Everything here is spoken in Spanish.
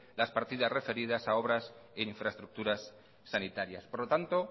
las partidas referidas a obras e infraestructuras sanitarias por lo tanto